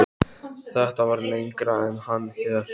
Þetta var lengra en hann hélt.